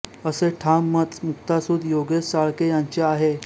असे ठाम मत मुक्तासुत योगेश चाळके यांचे आहे